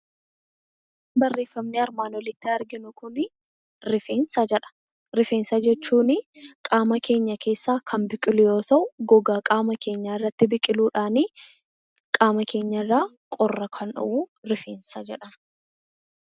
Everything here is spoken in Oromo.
Barreeffamni armaan olitti arginu kuni 'rifeensa' jedha. Rifeensa jechuunii qaama keenya keessaa kan biqilu yoo ta'u, gogaa qaama keenyaa irratti biqiluudhaanii qaama keenya irraa qorra kan dhowwu rifeensa jedhama.